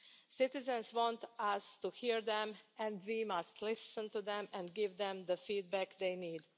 Citizens want us to hear them, and we must listen to them and give them the feedback they need.